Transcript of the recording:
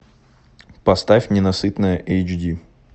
поставь ненасытная эйч ди